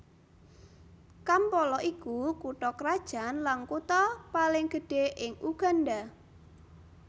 Kampala iku kutha krajan lan kutha paling gedhé ing Uganda